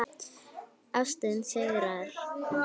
Ástin sigrar